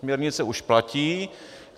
Směrnice už platí.